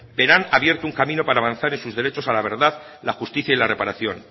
verán abierto un camino para avanzar en sus derechos a la verdad la justicia y la reparación